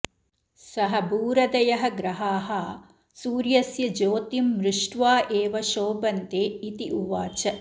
सः भूरदयः ग्रहाः सुर्यस्य ज्योतिम् म्रिष्ट्वा एव शोभन्ते इति उवाच